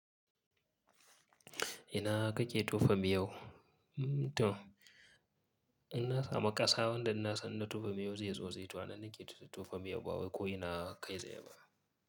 Ina kake tofa miyau? Mm to, ina sama ƙasa wanda inna san na tofa miyau zai zo zai tauna ni ke tufa miyau ba wai ko ina kai zai ba.